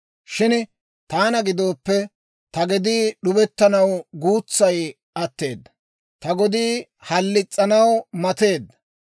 Shin taana gidooppe, ta gedii, d'ubettanaw guutsaa atteedda; ta gedii halis's'anaw mateedda.